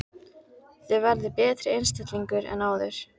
Þið verðið betri einstaklingar en áður!